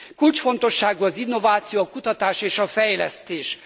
Kulcsfontosságú az innováció, a kutatás és a fejlesztés.